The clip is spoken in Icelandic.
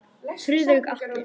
Friðrik Atli.